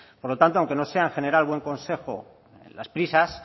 por lo tanto aunque no sea en general buen consejo las prisas